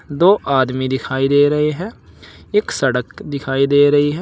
दो आदमी दिखाई दे रहे हैं एक सड़क दिखाई दे रही है।